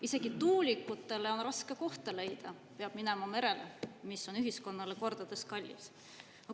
Isegi tuulikutele on raske kohta leida, peab minema merele, mis on ühiskonnale kordades kallim.